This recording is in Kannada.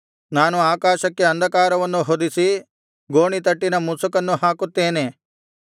ನಾನು ಆಕಾಶಕ್ಕೆ ಅಂಧಕಾರವನ್ನು ಹೊದಿಸಿ ಗೋಣಿತಟ್ಟಿನ ಮುಸುಕನ್ನು ಹಾಕುತ್ತೇನೆ